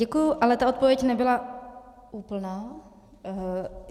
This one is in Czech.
Děkuji, ale ta odpověď nebyla úplná.